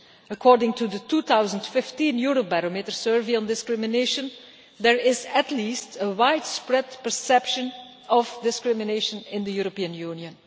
According to the 2015 Eurobarometer Survey on discrimination, there is at least a widespread perception of discrimination in the European Union.